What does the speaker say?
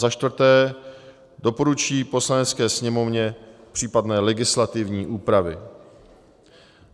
za čtvrté doporučí Poslanecké sněmovně případné legislativní úpravy.